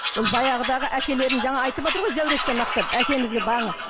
ол баяғыдағы әкелерін жаңа айтып отыр ғой зәуреш те мақтап әкемізге